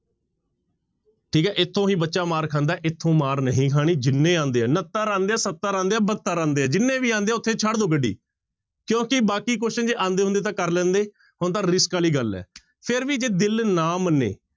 ਠੀਕ ਹੈ ਇੱਥੋਂ ਹੀ ਬੱਚਾ ਮਾਰ ਖਾਂਦਾ ਹੈ ਇੱਥੋਂ ਮਾਰ ਨਹੀਂ ਖਾਣੀ, ਜਿੰਨੇ ਆਉਂਦੇ ਆ ਉਣੱਤਰ ਆਉਂਦੇ ਆ, ਸੱਤਰ ਆਉਂਦੇ ਆ, ਬਹੱਤਰ ਆਉਂਦੇ ਆ ਜਿੰਨੇ ਵੀ ਆਉਂਦੇ ਆ ਉੱਥੇ ਛੱਡ ਦਓ ਗੱਡੀ ਕਿਉਂਕਿ ਬਾਕੀ question ਜੇ ਆਉਂਦੇ ਹੁੰਦੇ ਤਾਂ ਕਰ ਲੈਂਦੇ, ਹੁਣ ਤਾਂ risk ਵਾਲੀ ਗੱਲ ਹੈ ਫਿਰ ਵੀ ਜੇ ਦਿਲ ਨਾ ਮੰਨੇ